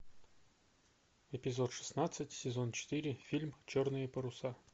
эпизод шестнадцать сезон четыре фильм черные паруса